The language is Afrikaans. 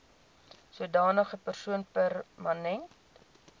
sodanige persoon permanent